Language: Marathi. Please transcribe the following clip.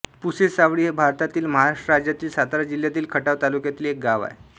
पुसेसावळी हे भारतातील महाराष्ट्र राज्यातील सातारा जिल्ह्यातील खटाव तालुक्यातील एक गाव आहे